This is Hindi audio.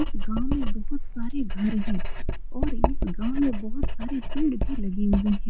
इस गांव में बहुत सारे घर हैं और इस गांव में बहुत सारे पेड़ भी लगे हुए हैं।